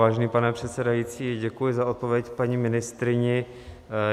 Vážený pane předsedající, děkuji za odpověď paní ministryni.